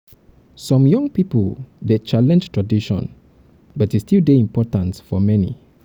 some um young pipo dey challenge tradition but e still dey important for many.